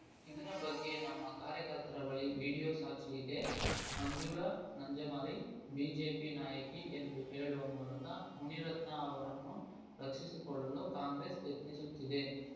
ಇದರ ಬಗ್ಗೆ ನಮ್ಮ ಕಾರ್ಯಕರ್ತರ ಬಳಿ ವಿಡಿಯೋ ಸಾಕ್ಷ್ಯಇದೆ ಮಂಜುಳಾ ನಂಜಾಮರಿ ಬಿಜೆಪಿ ನಾಯಕಿ ಎಂದು ಹೇಳುವ ಮೂಲಕ ಮುನಿರತ್ನ ಅವರನ್ನು ರಕ್ಷಿಸಿಕೊಳ್ಳಲು ಕಾಂಗ್ರೆಸ್‌ ಯತ್ನಿಸುತ್ತಿದೆ